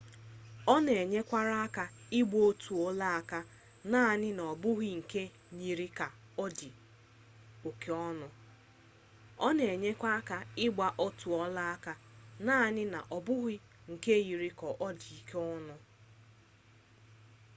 ọ na-enyekwara aka ịgba otu ọlaaka naanị ọ bụghị nke yiri ka ọ dị oke ọnụ